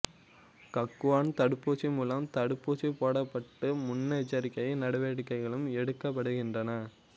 கக்குவான் தடுப்பூசி மூலம் தடுப்பூசி போடப்பட்டு முன்னெச்சரிக்கை நடவடிக்கைகள் எடுக்கப்படுகின்றன